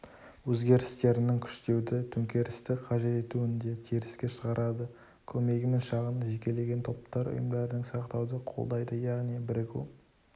өзгерістерін күштеуді төңкерісті қажет етуін де теріске шығарады көмегімен шағын жекелеген топтар ұйымдарын сақтауды қолдайды яғни бірігу